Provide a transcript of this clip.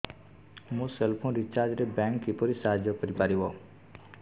ମୋ cell phone recharge ରେ bank କିପରି ସାହାଯ୍ୟ କରିପାରିବ